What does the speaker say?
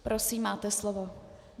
Prosím, máte slovo.